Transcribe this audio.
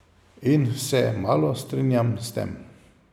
In se malo strinjam s tem.